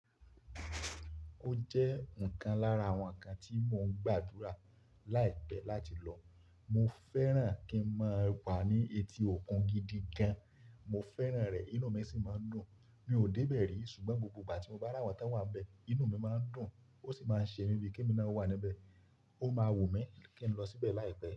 Ó jẹ́ nǹkan lára àwọn ǹkan tí mo ń gbàdúrà láìpẹ́ láti lọ. Mo fẹ́ràn kí n máa wà ní etí òkun gidi gan. Mo fẹ́ràn rẹ̀, inú mi sì máa n dùn. Mi ò dé bẹ̀ẹ rí ṣùgbọ́n gbogbo ìgbà tí mo bá ra wọn tan wàn bẹ̀, inú mi máa ń dùn ó sì máa ń ṣe mí bíi kè mi náà wà níbẹ̀. Ó máa wù mí kí n lọ síbẹ̀ láìpẹ́